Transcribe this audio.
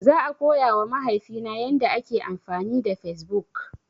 Zan koya wa mahaifi na yanda ake amfani da Fesbuk